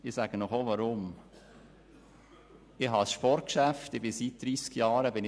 Ich sage Ihnen auch, weshalb: Ich besitze ein Sportgeschäft, in welchem ich seit 30 Jahren tätig bin.